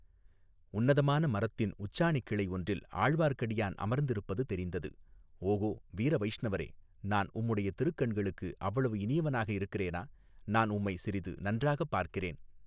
உன்னதமான மரத்தின் உச்சாணி கிளை ஒன்றில், ஆழ்வார்க்கடியான் அமர்ந்திருப்பது தெரிந்தது, ஓகோ, வீரவைஷ்ணவரே, நான் உம்முடைய திருக்கண்களுக்கு, அவ்வளவு இனியவனாக இருக்கிறேனா, நான் உம்மை சிறிது நன்றாக பார்க்கிறேன்.